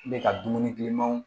I bɛ ka dumuni kilimanw